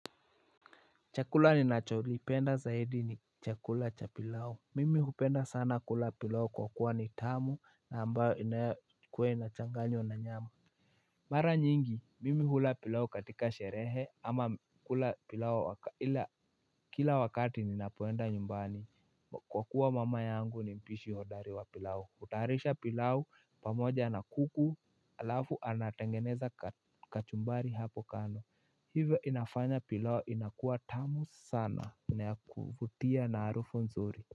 Chakula ninacholipenda zaidi ni chakula cha pilau. Mimi hupenda sana kula pilao kwa kuwa ni tamu na ambayo inakwe inachanganywa na nyama. Mara nyingi, mimi hula pilao katika sherehe ama kula pilao ila kila wakati ninapoenda nyumbani. Kwa kuwa mama yangu ni mpishi hodari wa pilau. Kutayarisha pilau pamoja na kuku alafu anatengeneza ka kachumbari hapo kando. Hivyo inafanya pilau inakua tamu sana na kufutia na harufu nzuri.